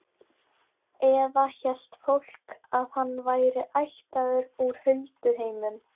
Eða hélt fólk að hann væri ættaður úr hulduheimum?